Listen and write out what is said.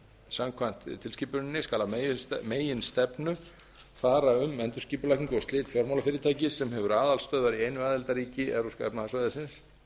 samkvæmt tilskipuninni skal að meginstefnu fara um endurskipulagningu og slit fjármálafyrirtækis sem hefur aðalstöðvar í einu aðildarríki evrópska efnahagssvæðisins